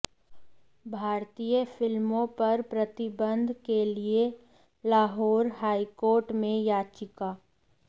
भारतीय फिल्मों पर प्रतिबंध के लिए लाहौर हाईकोर्ट में याचिका